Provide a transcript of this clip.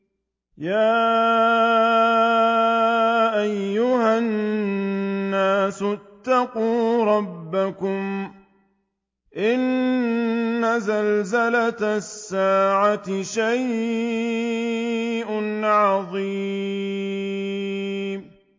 يَا أَيُّهَا النَّاسُ اتَّقُوا رَبَّكُمْ ۚ إِنَّ زَلْزَلَةَ السَّاعَةِ شَيْءٌ عَظِيمٌ